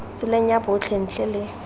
tseleng ya botlhe ntle le